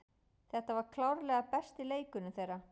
Þetta var klárlega besti leikurinn þeirra.